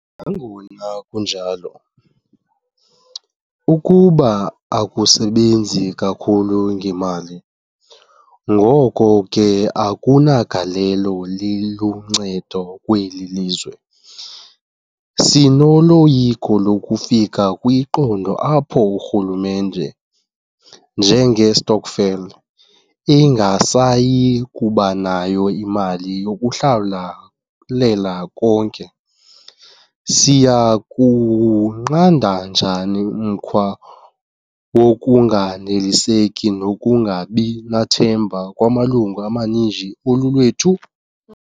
Nangona kunjalo, ukuba akusebenzi kakhulu ngemali, ngoko ke akunagalelo liluncedo kweli lizwe. Sinoloyiko lokufika kwiqondo apho urhulumente njengestokvel ingasayi kuba nayo imali yokuhlawulela konke. Siya kuwunqanda njani umkhwa wokunganeliseki nokungabi nathemba kwamalungu amaninzi olulwethu?